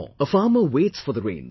A farmer waits for the rains